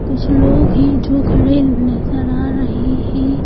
कुछ लोग हैं जो खड़े नज़र आ रहे हैं।